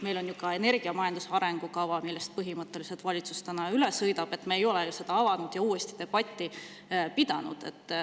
Meil on ju ka energiamajanduse arengukava, millest valitsus täna üle sõidab, aga me ei ole seda avanud ja uuesti debatti pidanud.